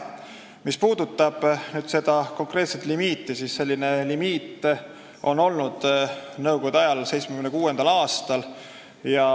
Mis puudutab seda konkreetset limiiti, siis selline limiit oli olemas nõukogude ajal, 1976. aastal.